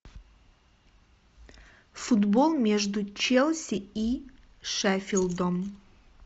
футбол между челси и шеффилдом